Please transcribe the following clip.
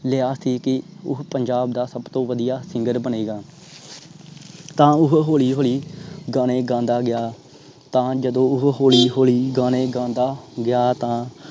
ਲਿਆ ਸੀ ਕਿ ਉਹ ਪੰਜਾਬ ਦਾ ਸਬ ਤੋਂ ਵਧੀਆ singer ਬਣੇਗਾ। ਤਾਂ ਓਹੋ ਹੋਲੀ ਹੋਲੀ ਗਾਣੇ ਗਾਂਦਾ ਗਿਆ। ਤਾਂ ਜਦੋ ਉਹ ਹੋਲੀ ਹੋਲੀ ਗਾਣੇ ਗਾਂਦਾ ਗਿਆ। ਤਾਂ